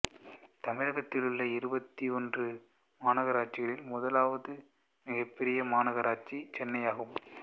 தமிழகத்தில் உள்ள இருபத்தி ஒன்று மாநகராட்சிகளில் முதலாவது மிகப்பெரிய மாநகராட்சி சென்னை ஆகும்